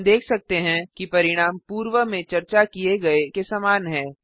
हम देख सकते हैं कि परिणाम पूर्व में चर्चा किए गए के समान है